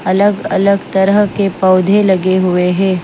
अलग-अलग तरह के पौधे लगे हुए हैं।